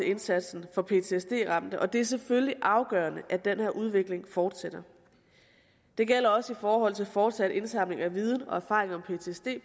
indsatsen for ptsd ramte og det er selvfølgelig afgørende at den her udvikling fortsætter det gælder også i forhold til fortsat indsamling af viden og erfaring om ptsd